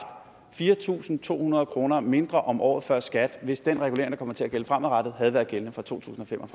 fire tusind to hundrede kroner mindre om året før skat hvis den regulering der kommer til at gælde fremadrettet havde været gældende for to tusind og fem og